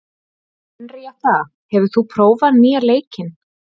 Henríetta, hefur þú prófað nýja leikinn?